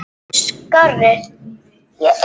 Nei ég veit það ekki.